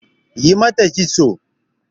Yi mata kiston!